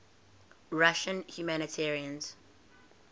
russian humanitarians